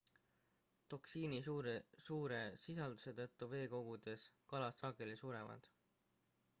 toksiini suure sisalduse tõttu veekogudes kalad sageli surevad